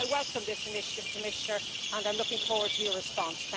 So I welcome this initiative, Commissioner, and I am looking forward to your response.